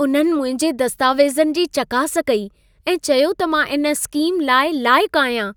उन्हनि मुंहिंजे दस्तावेज़नि जी चकास कई ऐं चयो त मां इन स्कीम लाइ लाइकु आहियां।